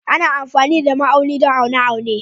Ana amfani da ma'auni don aune aune